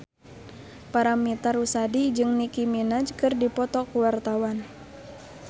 Paramitha Rusady jeung Nicky Minaj keur dipoto ku wartawan